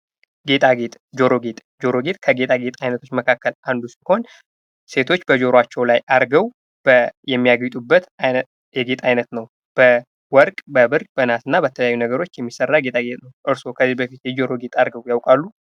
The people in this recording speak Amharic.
ጌጣጌጥ ጆሮ ጌጥ ጆሮ ጌጥ ከጌታ ጌት አይነቶች መካከል አንዱ ሲሆን ሴቶች በጆሮአቸው ላይ አድርገው የሚያጌጡበት የጌጥ ዓይነት ነው። በወርቅ፣ በብር፣ በነሀስ እና በተለያዩ ነገሮች የሚሠራበት ጌጣጌጥ ነው። እርስዎ ከዚህ በፊት የጆሮ ጌጥ አድርገው ያውቃሉ?